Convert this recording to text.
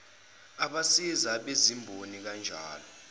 abasiza abezimboni kanjalo